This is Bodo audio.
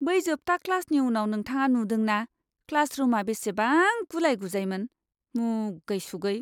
बै जोबथा क्लासनि उनाव नोंथाङा नुदों ना क्लास रुमआ बेसेबां गुलाय गुजायमोन? मुगै सुगै।